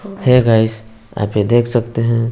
है गाइस आप ये देख सकते हैं।